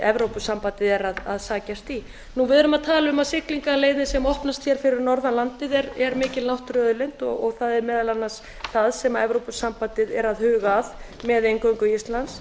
og fremst að sækjast í við erum að tala um að siglingaleiðir sem opnast fyrir norðan landið er mikil náttúruauðlind og það er meðal annars það sem evrópusambandið er að huga að með inngöngu íslands